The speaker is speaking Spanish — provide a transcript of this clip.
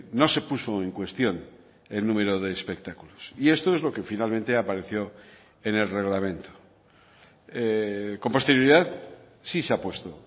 no se puso en cuestión el número de espectáculos y esto es lo que finalmente apareció en el reglamento con posterioridad sí se ha puesto